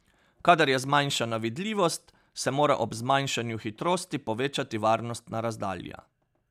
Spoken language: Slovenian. Kadar je zmanjšana vidljivost, se mora ob zmanjšanju hitrosti povečati varnostna razdalja.